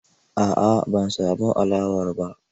A'a ban samu alawar ba.